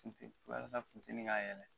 Walasa fitinin k'a yɛrɛ dɛmɛ.